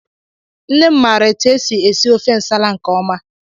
Nne m maara etụ esị esi ofe ǹsàlà nke ọma.